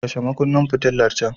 Kashe makunnin fitilar can.